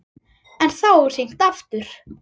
En þá er hringt aftur.